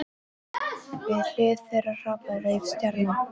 Við hlið þeirra hrapaði rauð stjarna.